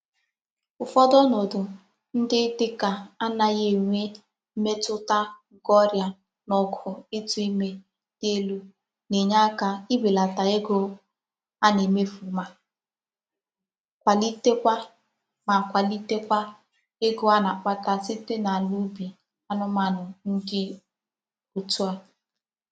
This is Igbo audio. Ufodu onodu ndi dika anaghi enwe mmetuta nke oria na ogo itu ime di elu na-enye aka ibelata ego a na-emefu ma kwalite Kwa ma kwalite Kwa ego a na-akpata site n'ala ubi anumanu di òtû a.